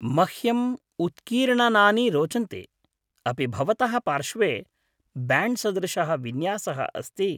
मह्यम् उत्कीर्णनानि रोचन्ते। अपि भवतः पार्श्वे ब्याण्ड् सदृशः विन्यासः अस्ति?